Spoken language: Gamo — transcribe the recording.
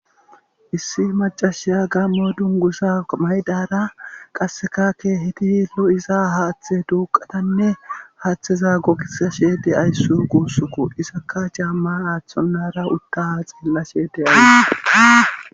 issi macashiya gammo dungusa maydara qassekakke hiti nu iza haaththe duuqatanne haaththeza gogisa shee de ayssu guussuku isakka jaamma aaththonara uttaha xeella sheedeyala